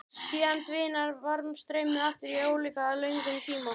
Síðan dvínar varmastreymið aftur á álíka löngum tíma.